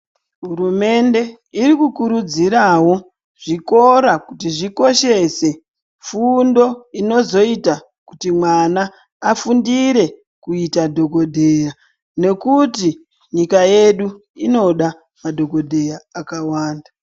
Hurumende iri kukurudzirawo zvikora kuti zvikoshese fundo inozoita kuti mwana afundire kuita dhokodheya nekuti nyika yedu, inoda madhokodheya akawanda.